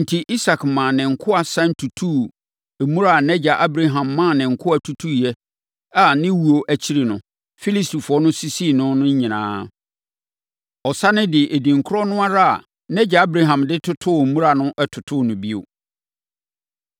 Enti, Isak maa ne nkoa sane tutuu mmura a nʼagya Abraham maa ne nkoa tutuiɛ a ne wuo akyiri no, Filistifoɔ no sisii ne nyinaa no. Ɔsane de edin korɔ no ara a nʼagya Abraham de totoo mmura no totoo no bio.